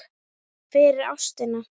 fyrir ástina